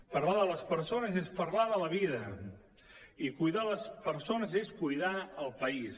parlar de les persones és parlar de la vida i cuidar les persones és cuidar el país